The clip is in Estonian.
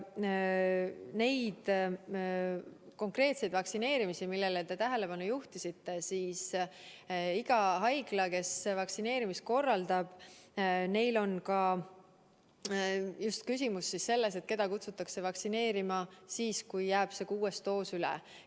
Mis puudutab neid konkreetseid vaktsineerimisi, millele te tähelepanu juhtisite, siis igal haiglal, kes vaktsineerimist korraldab, on küsimus just selles, keda kutsuda vaktsineerima siis, kui see kuues doos jääb üle.